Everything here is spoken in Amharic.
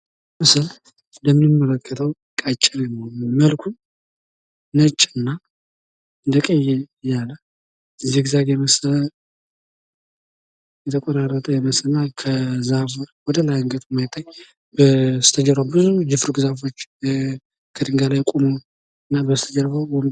ይሄ ምስል እንደምንመለከተው ቀጭኔ ነው እና መልኩ ነጭ እና እንደቀይ ያለ ዚግዛግ የመሰለ የተቆራረጠ ይመስለኛል። ከዛፉ በደንብ አንገቱ የማይታይ በስተጀርባው ብዙ የፉርግ ዛፎች ከድንጋይ ላይ ቆሞ እና በስተጀርባው።